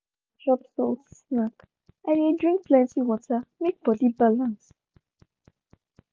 if i chop salty snack i dey drink plenty water make body balance.